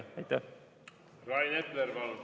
Rain Epler, palun!